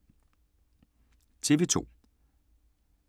TV 2